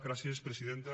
gràcies presidenta